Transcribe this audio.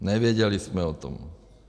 Nevěděli jsme o tom.